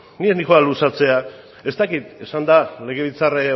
ni ez noa luzatzera ez dakit esan da legebiltzar